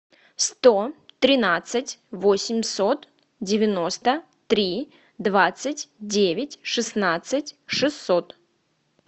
сто тринадцать восемьсот девяносто три двадцать девять шестнадцать шестьсот